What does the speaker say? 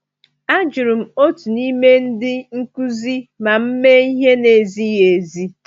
A jụrụ m otu n’ime ndị nkuzi ma m mee ihe na-ezighi ezi.